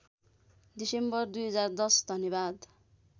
December २०१० धन्यवाद